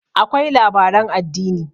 akwai labaran addini